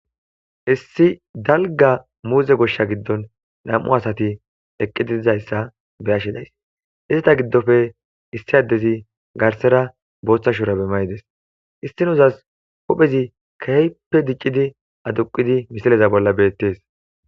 Issi dalga muuze goshsha giddon nam7u asati eqqitiizayssa be ashshidays izita giddofe issi addezi garsera booththa shurabe mayides issinozas hophezi keyppe diccidi aduqidi misaleza bolla beettees.